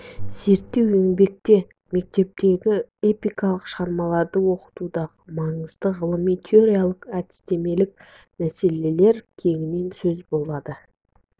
зерттеу еңбекте мектептегі эпикалық шығармаларды оқытудағы маңызды ғылыми-теориялық әдістемелік мәселелер кеңінен сөз болады